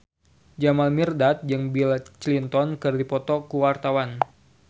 Jamal Mirdad jeung Bill Clinton keur dipoto ku wartawan